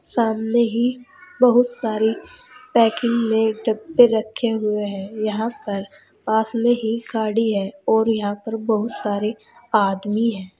सामने ही बहुत सारी पैकिंग में डब्बे रखे हुए हैं। यहां पर पास में ही गाड़ी है और यहां पर बहुत सारे आदमी हैं।